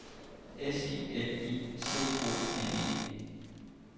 S I L I C O N E